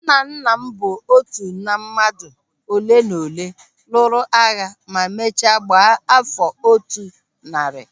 Nnanna m bụ otu na mmadụ oleenaolee lụrụ agha ma mechaa gbaa áfọ̀ otu narị